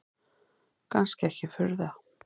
Kannski ekki furða.